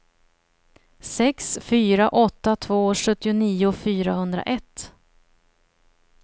sex fyra åtta två sjuttionio fyrahundraett